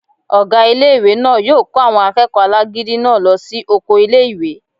Ọgá ilé-ìwé náà yóò kó àwọn akẹ́kọ̀ọ́ alágídí náà lọ sí oko ilé-ìwé